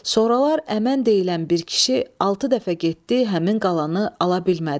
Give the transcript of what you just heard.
Sonralar əmən deyilən bir kişi altı dəfə getdi həmin qalanı ala bilmədi.